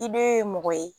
I be mɔgɔ ye